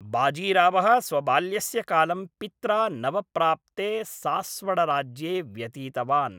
बाजीरावः स्वबाल्यस्य कालं पित्रा नवप्राप्ते सास्वडराज्ये व्यतीतवान्।